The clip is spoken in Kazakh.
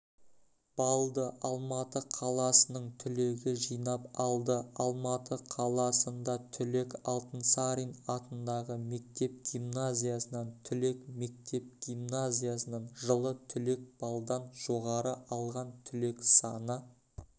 баллды алматы қаласының түлегі жинап алды алматы қаласында түлек алтынсарин атындағы мектеп-гимназиясынан түлек мектеп-гимназиясынан жылы түлек баллдан жоғары алған түлек саны